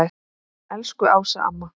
Elsku Ása amma.